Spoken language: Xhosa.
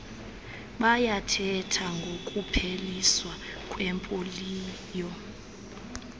bayathetha ngokupheliswa kwepoliyo